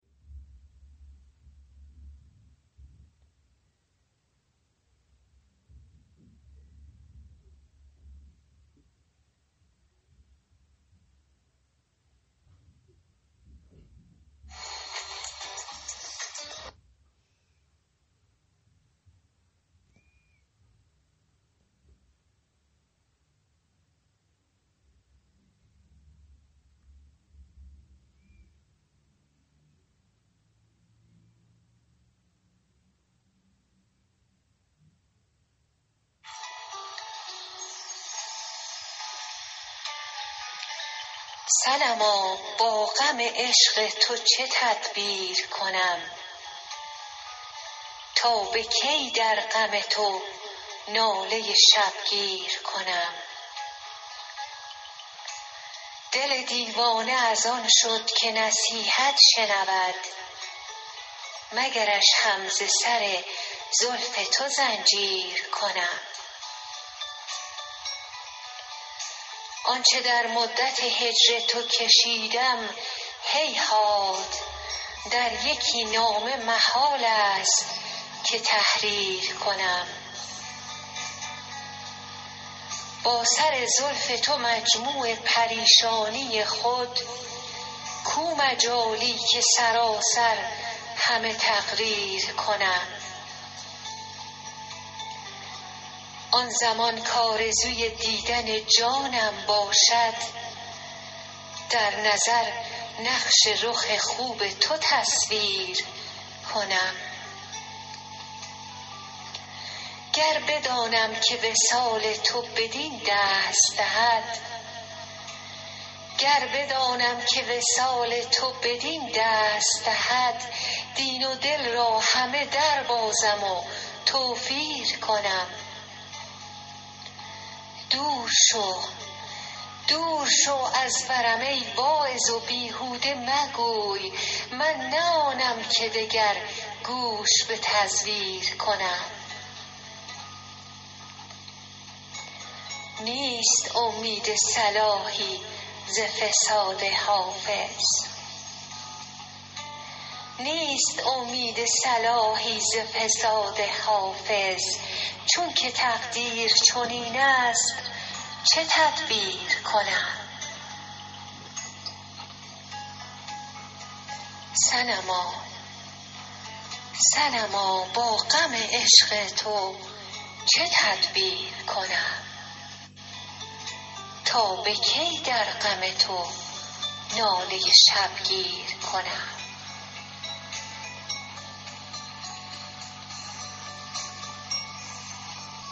صنما با غم عشق تو چه تدبیر کنم تا به کی در غم تو ناله شبگیر کنم دل دیوانه از آن شد که نصیحت شنود مگرش هم ز سر زلف تو زنجیر کنم آن چه در مدت هجر تو کشیدم هیهات در یکی نامه محال است که تحریر کنم با سر زلف تو مجموع پریشانی خود کو مجالی که سراسر همه تقریر کنم آن زمان کآرزوی دیدن جانم باشد در نظر نقش رخ خوب تو تصویر کنم گر بدانم که وصال تو بدین دست دهد دین و دل را همه دربازم و توفیر کنم دور شو از برم ای واعظ و بیهوده مگوی من نه آنم که دگر گوش به تزویر کنم نیست امید صلاحی ز فساد حافظ چون که تقدیر چنین است چه تدبیر کنم